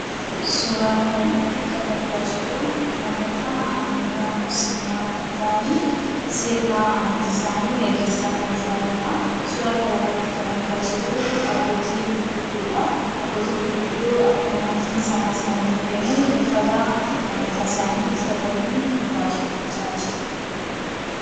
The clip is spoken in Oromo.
Suuraa kana irratti kan argaa jirruu: namoota Amantaa Musliimaa kan ta'anii, sirna amantii isaanii geggeessaa kan jiranidha. Suura kana irratti kan argaa jirruu: Abbootii gurguddoodha. Abbootii gurguddoon akkuma amantiin isaanii isaaniif ayyamu, uffata Amantaa isaanii uffatanii waaqeffataa jiru.